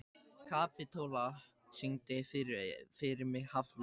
Kapitola, syngdu fyrir mig „Háflóð“.